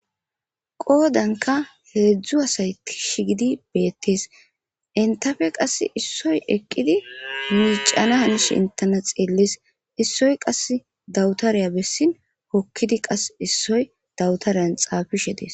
Qoodanka heedzdzu asay tishi gidi beettees intafe qass issoy eqqidi miicana hanish intena xiellis issoy qass dawutariya bessin hokkidi qas issoy dawutareyan xaafishe des